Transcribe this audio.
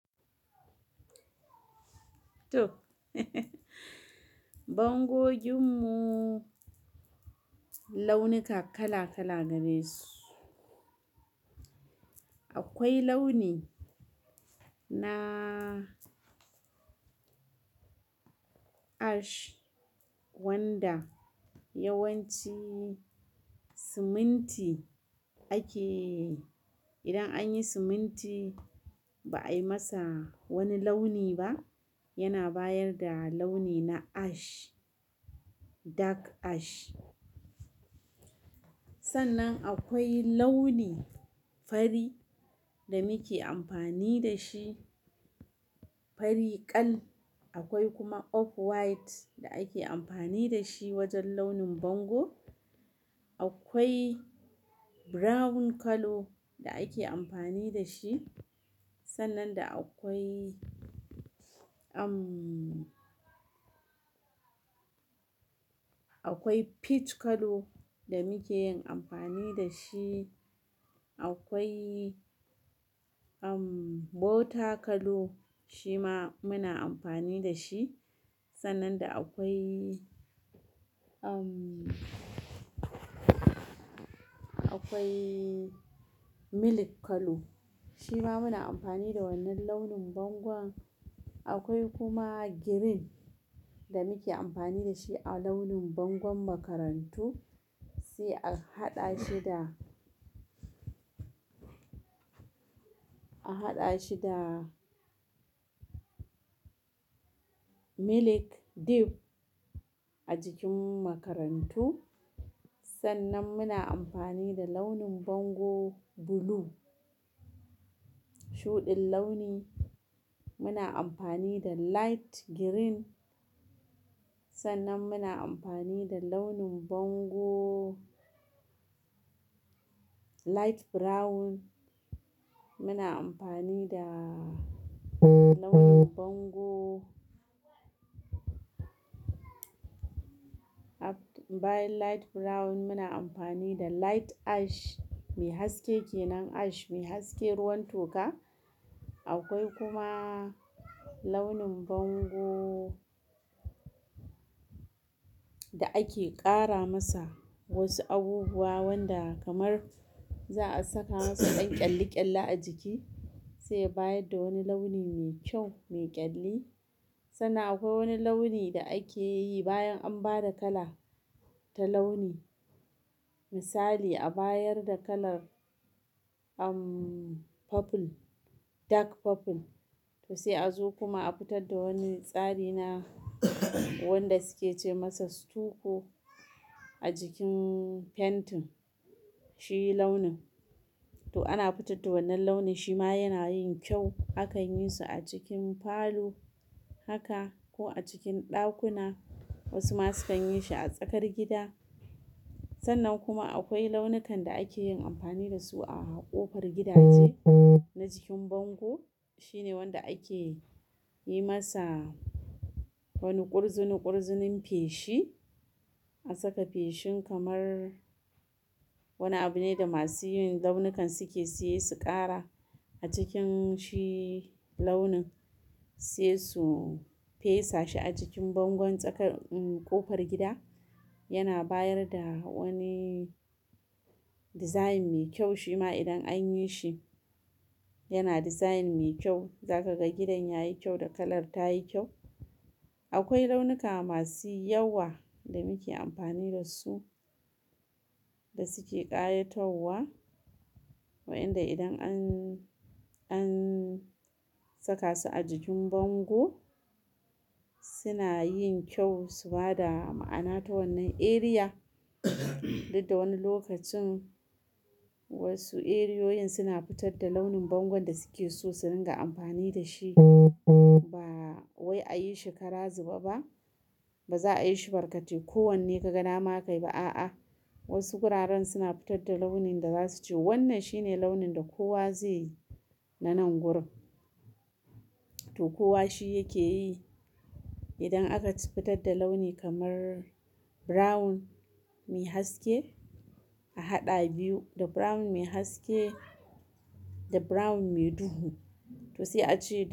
To bangojin mu launuka kala kala gare su. Akwai launi na ash wanda yawanci siminti ake, idan an yi siminti ba a yi masa wani launi ba yana bayar da launi na ash, dark ash. Sannan akwai launi fari da muke amfani da shi, fari ƙal. Akwai kuma off white da ake amfani da shi wajen launin bango. Akwai brown kalo da ake amfani da shi. Sannan da akwai, umm, akwai peach kallo da muke yin amfani da shi. Akwai, umm, butter kalo shi ma muna amfani da shi. Sannan da akwai, umm, akwai milk kallo shi ma muna amfani da wannan launin bango. Akwai kuma green da muke amfani da shi a launin bangon makarantu, sai a haɗa shi da, a haɗa shi da milk dip a jikin makarantu. Sannan muna amfani da launin bango blue, shuɗin launi. Muna amfani da light green. Sannan muna amfani da launin bango light brown. Muna amfani da launin bango, bayan light brown muna amfani da light ash mai haske kenan ash mai haske ruwan toka. Akwai kuma launin bango da ake ƙara masa wasu abubuwa wanda kamar za a saka masa ɗan ƙyalli ƙyalli a jiki sai ya bayar da wani launi mai kyau, mai ƙyalli. Sannan akwai wani launi da akeyi bayan anbada kala ta launi misali a bayar da kalar umm, purple, dark purple to sai a zo kuma a fitar da wani tsari na wanda suke ce masa stucco a jikin fentin shi launin. To ana fitar da wannan launin shi ma yana yin kyau. Akan yi su a cikin falo haka ko a cikin ɗakuna. Wasu ma sukan yi shi a tsakar gida. Sannan kuma akwai launukan da ake yin amfani da su a ƙofar gidaje na jikin bango. Shi ne wanda ake yi masa wani kurzunu kurzunun feshi. An saka feshin kamar wani abu ne da masu yin launukan suke siye su ƙara a cikin shi launin sai su fesa shi a jikin bangon tsakar, umm, ƙofar gida. Yana bayar da wani design mai kyau shi ma idan an yi shi yana design mai kyau. Za ka ga gidan ya yi kyau da kalar ta yi kyau. Akwai launuka masu yawa da muke amfani da su da suke ƙayatarwa. Wa'inda idan an, an saka su a jikin bango suna yin kyau su ba da ma'ana ta wannan eriya. Duk da wani lokacin wasu eriyoyin suna futar da launin bango da suke so su ringa amfani dashi ba wai a yi shi kara zube ba, ba za a yi shi barkate ko wanne ka ga dama ka yi ba. A'a, wasu guraren suna fitar da launin da za su ce wannan shine launin da kowa zai yi na nan gurin. To kowa shi yake yi. Idan aka ci fitar da launi kamar Brown me haske ahaɗa biyu da brown me haske da brown mai duhu. To se a ce.